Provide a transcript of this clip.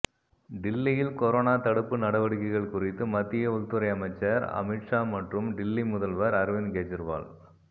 டில்லியில் கொரோனா தடுப்பு நடவடிக்கைகள் குறித்து மத்திய உள்துறை அமைச்சர் அமித்ஷா மற்றும் டில்லி முதல்வர் அரவிந்த்கெஜ்ரிவால்